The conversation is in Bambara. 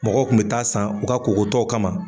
Mɔgɔw kun bi taa san u ka kokotɔw kama.